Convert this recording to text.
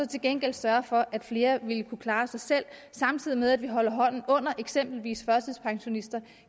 til gengæld sørge for at flere vil kunne klare sig selv samtidig med at vi holder hånden under eksempelvis førtidspensionister og